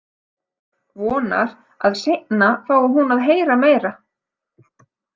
Vonar að seinna fái hún að heyra meira.